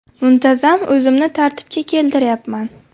Muntazam o‘zimni tartibga keltiryapman.